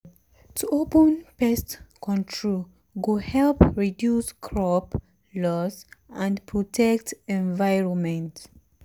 to open pest control go help reduce crop loss and protect environment.